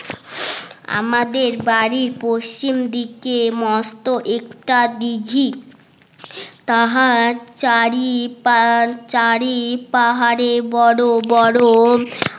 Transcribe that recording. আমাদের বাড়ি পশ্চিম দিকে মস্ত একটা দিঘা তাহা চারি পা চারি পাহাড়ে বড় বড়